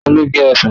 Ta ló gé ọsàn?